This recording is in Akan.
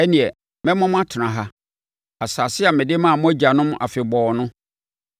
ɛnneɛ mɛma mo atena ha, asase a mede maa mo agyanom afebɔɔ no.